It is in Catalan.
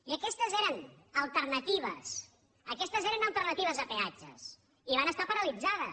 i aquestes eren alternatives aquestes eren alternatives a peatges i va ser paralitzades